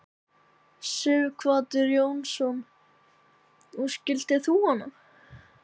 Sighvatur Jónsson: Og skildir þú hana?